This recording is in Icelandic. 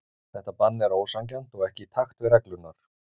Þetta bann er ósanngjarnt og ekki í takt við reglurnar.